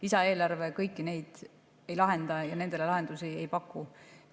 Lisaeelarve kõiki neid ei lahenda ja nendele lahendusi ei paku.